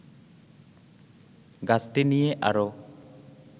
গাছটি নিয়ে আরো